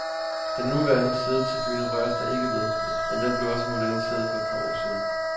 Den nuværende siddetribune røres der ikke ved, men den blev også moderniseret for et par år siden.